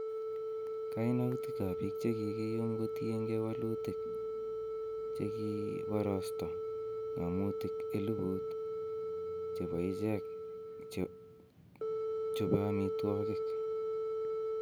Kainutikab biik che kikiyum kotienge wolutik, che kiborosto ng'omutik 1000 chebo ichek chobe omitwogiik